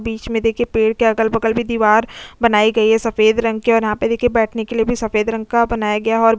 बीच में देखिए पेड़ के अगल-बगल भी दीवार बनाई गई है सफेद रंग के और यहां पे देखिए बैठने के लिए भी सफेद रंग का बनाया गया है और --